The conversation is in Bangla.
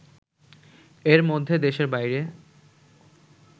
এর মধ্যে দেশের বাইরে